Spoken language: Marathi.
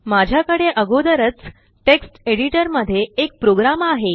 माझ्याकडे आगोदरच टेक्स्ट एडिटर मध्ये एक प्रोग्राम आहे